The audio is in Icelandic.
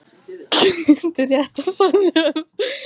Grét í réttarsalnum